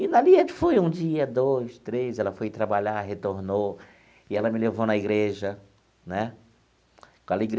E dali a gente foi um dia, dois, três, ela foi trabalhar, retornou e ela me levou na igreja né.